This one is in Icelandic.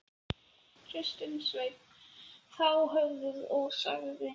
Þorbjörn: Hvað vilt þú gera varðandi aðildarviðræðurnar við Evrópusambandið?